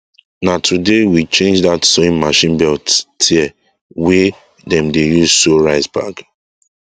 na today we change dat sowing machine belt tear wey dem dey use sow rice bag